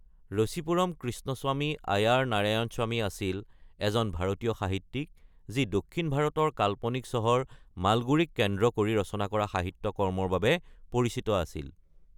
ৰচিপুৰম কৃষ্ণস্বামী আয়াৰ নাৰায়ণস্বামী আছিল এজন ভাৰতীয় সাহিত্যিক যি দক্ষিণ ভাৰতৰ কাল্পনিক চহৰ মালগুদীক কেন্দ্ৰ কৰি ৰচনা কৰা সাহিত্য কৰ্মৰ বাবে পৰিচিত আছিল।